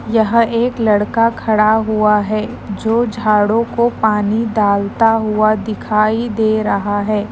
यह एक लड़का खड़ा हुआ है जो झाड़ों को पानी डालता हुआ दिखाई दे रहा है।